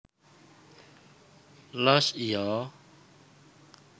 Loos Iya